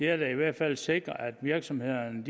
er da i hvert fald at sikre at virksomhederne